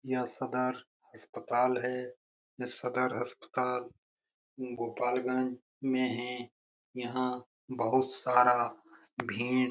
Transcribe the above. यह सदर अस्पताल है। यह सदर अस्पताल गोपालगंज में है। यहां बहुत सारा भीड़ --